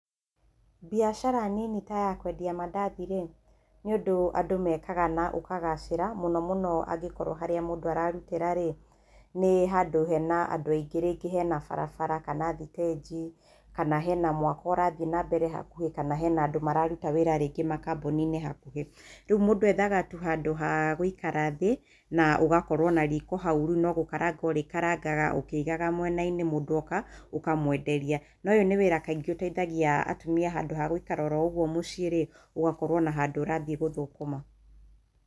Mbiacara nini ta ya kwendia mandathi-rĩ, nĩ ũndũ andũ mekaga na ũkagacĩra mũno mũno angĩkorwo harĩa mũndũ ararutĩra-rĩ, nĩ handũ hena andũ aingĩ, rĩngĩ hena barabara kana thitĩnjĩ kana hena mwako ũrathiĩ na mbere hakuhĩ kana hena andũ mararuta wĩra rĩngĩ makambuni-inĩ hakuhĩ. Rĩu mũndũ ethga tu handũ ha gũikara thĩ na ũgakorwo na riko hau rĩu no gũkaranga ũrĩkarangaga ũkĩigaga mwena-inĩ mũndũ oka ũkamwenderia na ũyũ nĩ wĩra kaingĩ ũteithagia atumia handũ ha gũikara oro ũguo mũciĩ-rĩ, ugakorwo na handũ ũrathiĩ gũthũkũma.